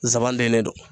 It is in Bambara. Zan dalen don